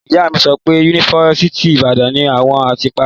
Ìyá mi sọ pé yunifásítì Ibàdàn ni awọn ti pari